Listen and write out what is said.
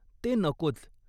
ते नकोच.